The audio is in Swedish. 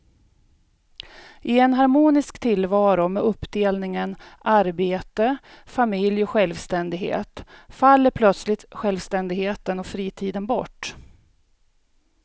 I en harmonisk tillvaro med uppdelningen arbete, familj och självständighet faller plötsligt självständigheten och fritiden bort.